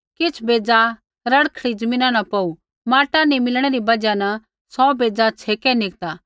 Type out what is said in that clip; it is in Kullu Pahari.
किछ़ बेज़ा रड़खड़ी ज़मीना न पौड़ू माटा नी मिलणै री बजहा सौ बेज़ा छ़ेकै निकता